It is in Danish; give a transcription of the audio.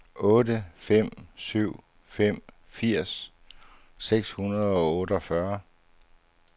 otte fem syv fem firs seks hundrede og otteogfyrre